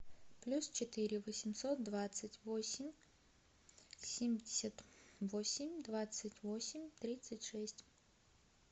плюс четыре восемьсот двадцать восемь семьдесят восемь двадцать восемь тридцать шесть